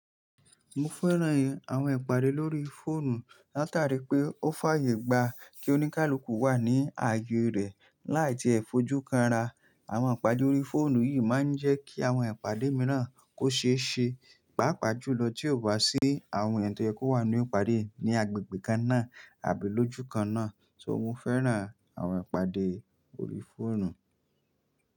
Mo fẹ́ràn àwọn ìpàdé lórí fóònù látàrí pé ó fàyè gba kí oníkálukú wà ní ààyè rẹ̀ láì tí ì fojú kanra. Àwọn ìpàdé órí fóònù yìí má ń jẹ́ kí àwọn ìpàdé míràn kó ṣe é ṣe, pàápàá jùlọ tí ó bá sí àwọn ètò tí ẹ kó wà ní ìpàdé ní agbègbè kan náà àbí lójúkan náà. So mo fẹ́ràn àwọn ìpàdé lórí fóònù.